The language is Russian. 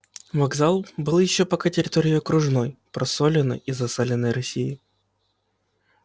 вокзал был ещё пока территорией окружной просоленной и засаленной россии